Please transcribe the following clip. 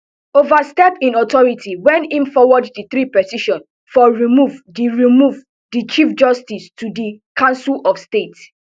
overstep im authority when im forward di three petitions for remove di remove di chief justice to di council of state